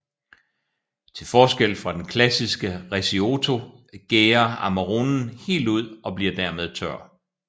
Til forskel fra den klassiske recioto gærer Amaronen helt ud og bliver dermed tør